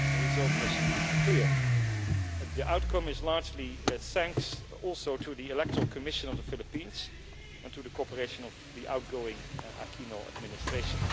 The result was clear and the outcome is largely thanks also to the electoral commission of the Philippines and to the cooperation of the outgoing Aquino administration.